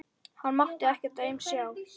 Hann mátti ekkert aumt sjá.